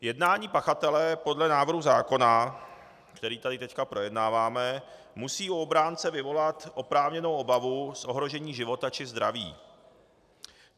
Jednání pachatele podle návrhu zákona, který tady teď projednáváme, musí u obránce vyvolat oprávněnou obavu z ohrožení života či zdraví.